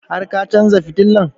Har ka chanza fitilan?